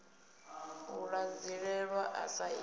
u ṱanzilelwa sa i re